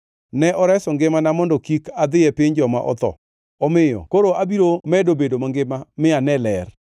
Ne oreso ngimana mondo kik adhi e piny joma otho, omiyo koro abiro medo bedo mangima, mi ane ler.